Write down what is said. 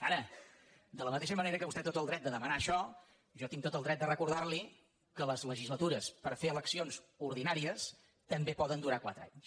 ara de la mateixa manera que vostè té tot el dret de demanar això jo tinc tot el dret de recordar li que les legislatures per fer eleccions ordinàries també poden durar quatre anys